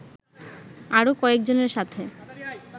আরো কয়েকজনের সাথে